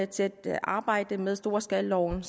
til at arbejde med storskalaloven